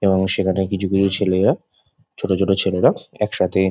এবং সেখানে কিছু কিছু ছেলেরা ছোট ছোট ছেলেরা একসাথে --